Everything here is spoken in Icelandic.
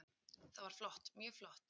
Það var flott, mjög flott.